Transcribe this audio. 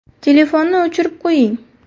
Telefonni o‘chirib qo‘ying.